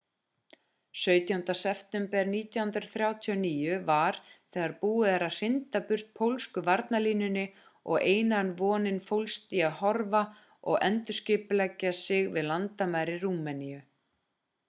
17. september 1939 var þegar búið að hrinda burt pólsku varnarlínunni og eina vonin fólst í að hörfa og endurskipuleggja sig við landamæri rúmeníu